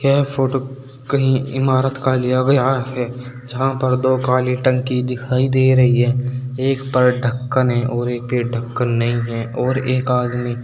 यह फोटो कही इमारत का लिया गया है जहां पर दो काली टंकी दिखाई दे रही है एक पर ढक्कन है और एक पे ढक्कन नहीं है और एक आदमी--